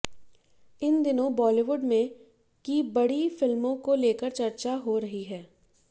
इन दिनों बॉलीवुड में की बड़ी फिल्मों को लेकर चर्चा हो रही है